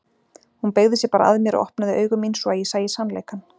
Hún beygði sig bara að mér og opnaði augu mín svo að ég sæi sannleikann.